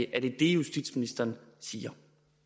er det det justitsministeren siger